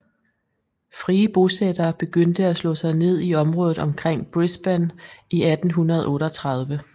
Frie bosættere begyndte at slå sig ned i området omkring Brisbane i 1838